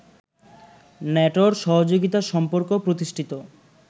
ন্যাটোর সহযোগিতা সম্পর্ক প্রতিষ্ঠিত